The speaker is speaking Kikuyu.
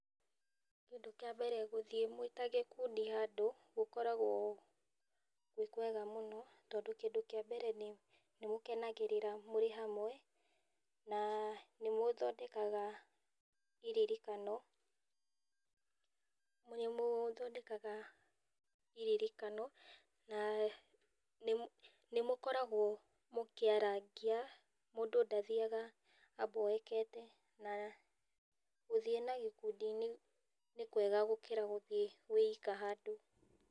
Kĩndũ kĩa mbere gũthiĩ mwĩta gĩkundi gũkoragwo gwĩ kwega mũno tondũ kĩndũ kĩa mbere nĩ mũkenegarĩra mũrĩ hamwe na nĩ mũthodekaga iririkano, nĩ mũthondekaga iririkano na nĩ mũkoragwo mũkĩarangia na mũndũ ndathiaga a mboekete na gũthiĩ na gĩkundi nĩ kwega gũkĩra gũthiĩ wĩ ika handũ.